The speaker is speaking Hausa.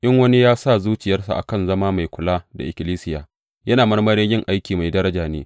In wani ya sa zuciyarsa a kan zama mai kula da ikkilisiya, yana marmarin yin aiki mai daraja ne.